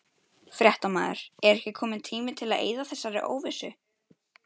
Fréttamaður: Er ekki kominn tími til að eyða þessari óvissu?